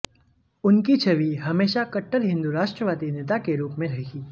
उनकी छवि हमेशा कटर हिंदू राष्ट्रवादी नेता के रूप में रही